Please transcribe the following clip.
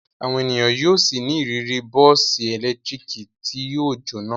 Àwọn ènìyàn yóò ṣì ní ìrírí bọ́ọ́sì ẹ̀lẹ́tíríkì tí yóò jóná.